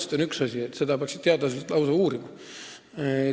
See on selline küsimus, et seda peaksid lausa teadlased uurima.